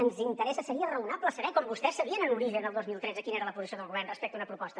ens interessa seria raonable saber com vostès sabien en origen el dos mil tretze quina era la posició del govern respecte a una proposta